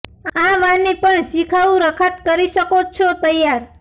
આ વાની પણ શિખાઉ રખાત કરી શકો છો તૈયાર